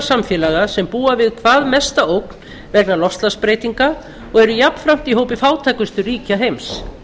samfélaga sem búa við hvað mesta ógn vegna loftslagsbreytinga og eru jafnframt í hópi fátækustu ríkja heims